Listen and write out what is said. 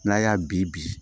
N'a y'a bi